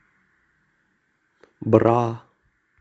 бра